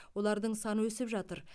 олардың саны өсіп жатыр